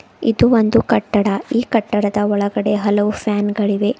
ಇದು ಒಂದು ಕಟ್ಟಡ ಈ ಕಟ್ಟಡದ ಒಳಗಡೆ ಹಲವು ಫ್ಯಾನ್ ಗಳಿವೆ.